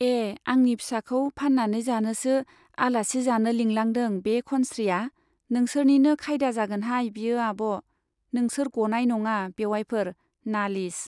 ए आंनि फिसाखौ फान्नानै जानोसो आलासि जानो लिंलांदों बे खनस्रीया , नोंसोरनिनो खायदा जागोनहाय बियो आब' , नोंसोर गनाय नङा बेउवाइफोर , नालिस